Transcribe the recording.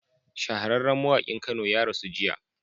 Shahararran mawakin kano ya rasu jiya